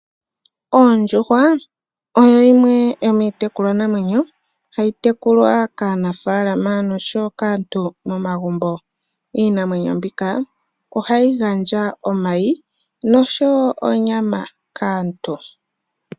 Oondjuhwa oyo yimwe yomiitekulwa namwenyo, hayi tekulwa kaanafalama nosho woo kaantu momagumbo. Iinamwenyo mbika oha yi gandja omayi osho woo onyama kaantu.